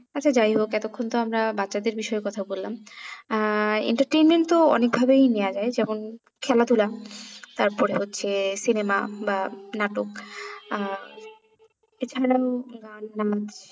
আচ্ছা যাই হোক এতক্ষন তো আমরা বাচ্ছাদের বিষয়ে কথা বললাম আহ entertainment তো অনেক ভাবেই নেওয়া যায় যেমন খেলা ধুলা তারপরে হচ্ছে cinema বা নাটক আহ এছাড়াও গান নাচ